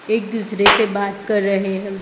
एक दूसरे से बात कर रहे हम--